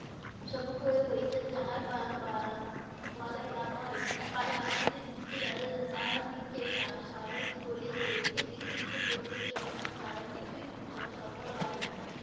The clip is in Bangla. সম্মুখ হ~ হইতেন যাহার বা ভয় গান্ধিজীর যুক্তি তাদের তাহাদিগের সা~ সাহস করিয়ে তুলেন। এই পৃথিবীতে প্রত্যক্ষ সংগ্রাম ছাড়া কিছুই স~ সফল হয় নাই।